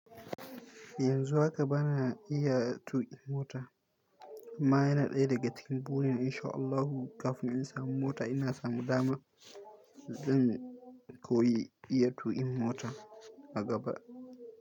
Yanzu haka bana iya tuƙin mota amma yana ɗaya daga cikin burina in sha Allahu kafin in samu mota ina samu dama zan koyi iya tuƙin mota a gaba.